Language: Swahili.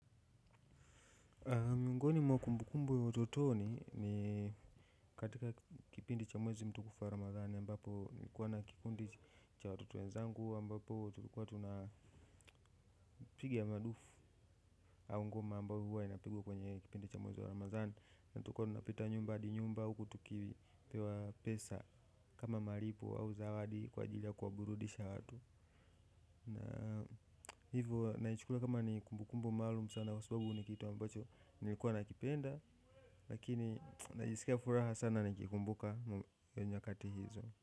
Miongoni mwa kumbukumbu ya utotoni ni katika kipindi cha mwezi mtukufu wa Ramadhani ambapo nilikuwa na kikundi cha watoto wezangu ambapo tulikuwa tuna piga madufu aungoma ambayo huwa inapigwa kwenye kipindi cha mwezi wa Ramadhani na tukua tunapita nyumba adi nyumba huku tukipewa pesa kama malipo au zawadi kwa ajili ya kuwa burudisha watu hivo naichukulia kama ni kumbukumbu maalum sana kwa sababu ni kitu ambacho nilikuwa nakipenda lakini najisikia furaha sana nikikumbuka nyakati hizo.